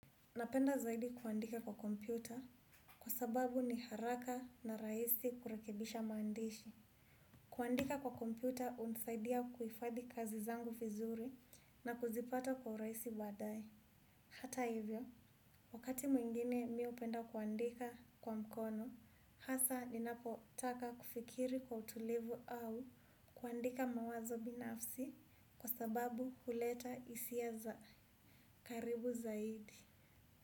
Napenda zaidi kuandika kwa kompyuta kwa sababu ni haraka na raisi kurekebisha maandishi. Kuandika kwa kompyuta unsaidia kuifadhi kazi zangu fizuri na kuzipata kwa uraisi baadae. Hata hivyo, wakati mwingine mi upenda kuandika kwa mkono, hasa ninapo taka kufikiri kwa utulivu au kuandika mawazo binafsi kwa sababu huleta isia za karibu zaidi.